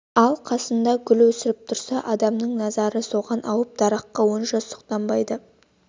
ал қасында гүл өсіп тұрса адамның назары соған ауып дараққа онша сұқтанбайды